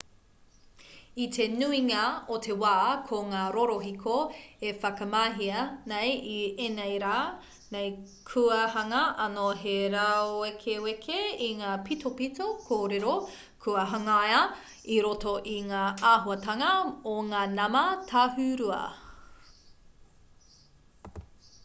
i te nuinga o te wā ko ngā rorohiko e whakamahia nei i ēnei rā nei kua hanga anō he rāwekeweke i ngā pitopito kōrero kua hangaia i roto i ngā āhuatanga o ngā nama tāhūrua